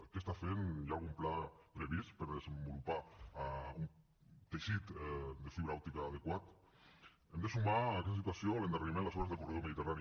què està fent hi ha algun pla previst per desenvolupar un teixit de fibra òptica adequat hem de sumar a aquesta situació l’endarreriment en les obres del corredor mediterrani